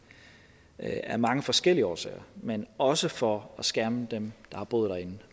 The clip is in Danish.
ja af mange forskellige årsager men også for at skærme dem der har boet derinde